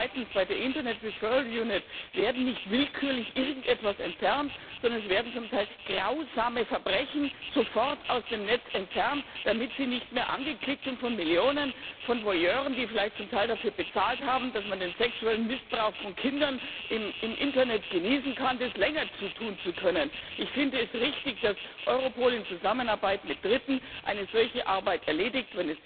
Zweitens Bei der Internet wird nicht willkürlich irgendetwas entfernt, sondern es werden zum Teil grausame Verbrechen sofort aus dem Netz entfernt, damit sie nicht mehr von Millionen von Voyeuren angeklickt werden können, die vielleicht zum Teil dafür bezahlt haben, dass man den sexuellen Missbrauch von Kindern im Internet genießen kann. Ich finde es richtig, dass Europol in Zusammenarbeit mit Dritten eine solche Arbeit erledigt.